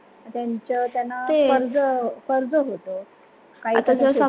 त्याच्या वर त्यांना कर्ज कर्ज होत